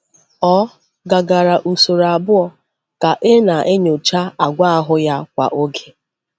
Ọ gàgara usoro abụọ ka e na-enyocha àgwà ahụ ya kwa oge.